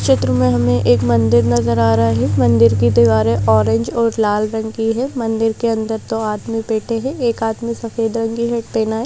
चित्र में हमे एक मंदिर नजर आ रहा है मंदिर की दीवारें ऑरेंज और लाल रंग की है मंदिर के अंदर दो आदमी बैठे हैं एक आदमी सफेद रंग की हैट पहना है।